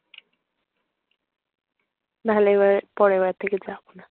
নাহলে পরের বার থেকে যাব না।